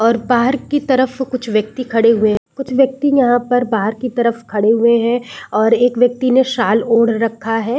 और पार्क की तरफ कुछ व्यक्ति खड़े हुए है कुछ व्यक्ति यहाँ पर बाहर की तरफ खड़े हुए है और एक व्यक्ति ने शॉल ओढ़ रखा है ।